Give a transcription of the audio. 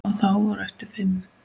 Og þá voru eftir fimm.